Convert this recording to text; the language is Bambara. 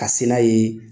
Ka se n'a ye